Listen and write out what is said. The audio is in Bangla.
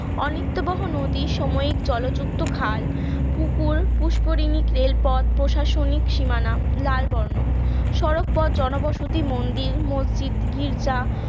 অনিত্য বহ নদী সাময়িক জলযুক্ত খাল পুকুর পুষ্করিণী রেলপথ প্রশাসনিক সীমানা লাল বর্ণ সড়ক পথ জনবসতি মন্দির মসজিদ গির্জা